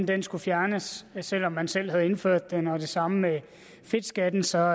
den skulle fjernes selv om man selv havde indført den var det samme med fedtskatten så